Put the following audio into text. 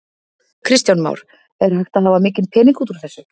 Kristján Már: Er hægt að hafa mikinn pening út úr þessu?